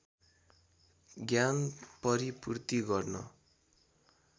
ज्ञान परिपूर्ति गर्न